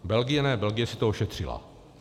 Belgie ne, Belgie si to ošetřila.